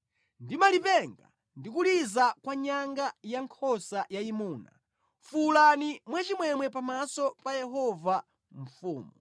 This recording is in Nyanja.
ndi malipenga ndi kuliza kwa nyanga ya nkhosa yayimuna fuwulani mwachimwemwe pamaso pa Yehova Mfumu.